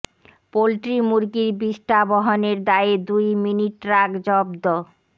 poultry মুরগির বিষ্ঠা বহনের দায়ে দুই মিনি ট্রাক জব্দ